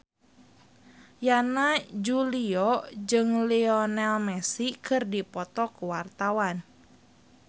Yana Julio jeung Lionel Messi keur dipoto ku wartawan